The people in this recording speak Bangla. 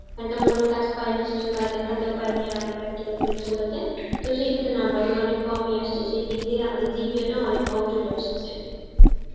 কারণ কি আমরা কোনো কাজ পারিনা সেই জন্য কাজ দেখাতেও পারিনি আমাদের practical পরীক্ষা গুলোতে, তো সেই ক্ষেত্রে number গুণ অনেক কম ই আসছে, সেই দিক দিয়ে আমাদের GPA টাও অনেক কম চলে আসছে